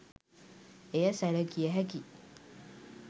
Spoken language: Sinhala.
එය සැලකිය හැකියි